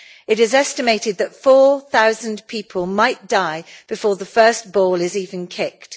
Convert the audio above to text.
It is estimated that 4000 people might die before the first ball is even kicked.